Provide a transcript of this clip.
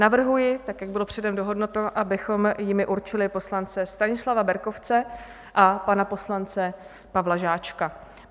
Navrhuji tak, jak bylo předem dohodnuto, abychom jimi určili poslance Stanislava Berkovce a pana poslance Pavla Žáčka.